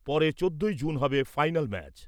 পরে চোদ্দই জুন হবে ফাইন্যাল ম্যাচ।